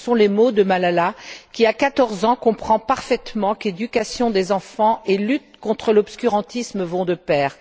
Ce sont les mots de Malala qui, à quatorze ans, comprend parfaitement qu'éducation des enfants et lutte contre l'obscurantisme vont de pair.